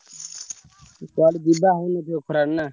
କୁଆଡେ ଯିବା ହେଇନି ଏଇ ଖରାରେ ନା?